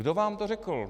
Kdo vám to řekl?